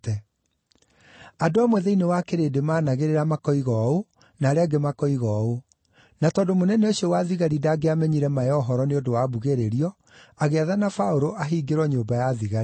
Andũ amwe thĩinĩ wa kĩrĩndĩ maanagĩrĩra makoiga ũũ na arĩa angĩ makoiga ũũ; na tondũ mũnene ũcio wa thigari ndangĩamenyire ma ya ũhoro nĩ ũndũ wa mbugĩrĩrio, agĩathana Paũlũ ahingĩrwo nyũmba ya thigari.